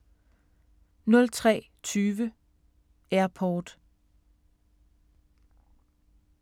03:20: Airport